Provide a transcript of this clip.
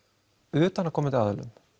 utanaðkomandi aðilum